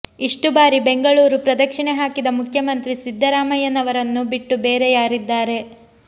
ಇಷ್ಟು ಬಾರಿ ಬೆಂಗಳೂರು ಪ್ರದಕ್ಷಿಣೆ ಹಾಕಿದ ಮುಖ್ಯಮಂತ್ರಿ ಸಿದ್ದರಾಮಯ್ಯನವರನ್ನು ಬಿಟ್ಟು ಬೇರೆ ಯಾರಿದ್ದಾರೆ